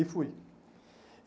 E fui.